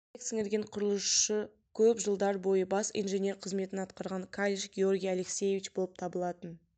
еңбек сіңірген құрылысшысы көп жылдар бойы бас инженер қызметін атқарған калиш георгий алексеевич болып табылатын